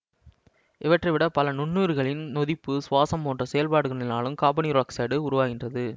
இவற்றைவிடப் பல நுண்ணுயிர்களின் நொதிப்பு சுவாசம் போன்ற செயற்பாடுகளினாலும் காபனீரொட்சைட்டு உருவாகின்றது